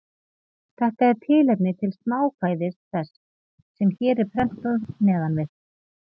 Þetta er tilefni til smákvæðis þess, sem hér er prentað neðan við.